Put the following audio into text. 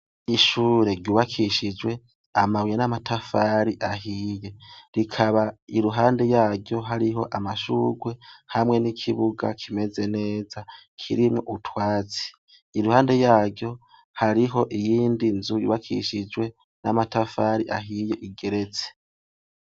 ishure ryubakishijwe amabuye n' amatafari ahiye, rikaba iruhande yaryo hariho amashurwe hamwe n' ikibuga kimeze neza kirimwo utwatsi, iruhande yaryo hariho iyindi nzu yubakishijwe n' amatafari ahiye igeretse.